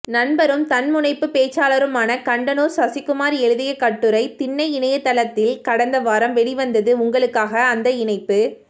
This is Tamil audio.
நண்பரும் தன்முனைப்பு பேச்சாளருமான கண்டனூர் சசிகுமார் எழுதிய கட்டுரை திண்ணை இணையத்தில்கடந்த வாரம் வெளிவந்தது உங்களுக்காக அந்த இணைப்பு